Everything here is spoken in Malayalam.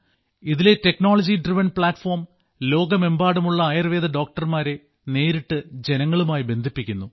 ഇതിലെ ടെക്നോളജി ഡ്രിവൺ പ്ലാറ്റ്ഫോം ലോകമെമ്പാടുമുള്ള ആയുർവേദ ഡോക്ടർമാരെ നേരിട്ട് ജനങ്ങളുമായി ബന്ധിപ്പിക്കുന്നു